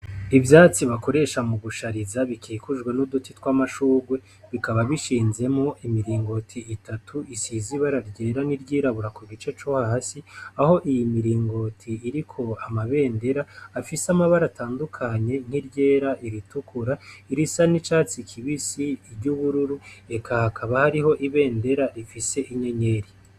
Ivyatsi bakoresha mu gushariza bikikujwe n'uduti tw'amashurwe bikaba bishinzemo imiringoti itatu isiz ibara ryera n'iryirabura ku gice co hasi aho iyi miringoti iriko amabendera afise amabara atandukanye nk'iryera iritukura irisa n'icatsi kibisi iry'ubururu reka hakaba hariho ibendera rifise inyenyeri.